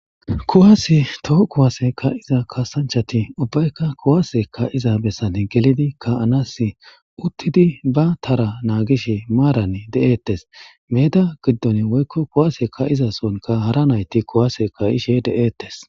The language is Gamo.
Kuwase toho kuwasse kaiiza kasanchati ubbayka kuwasse kaiiza bessan gelidi ka'anas uttidi be taara nagishe maaran de'ettes medda gidon woykko kuwasse kaiza sohohnka haara nayti kuwase kaishe de'ettes.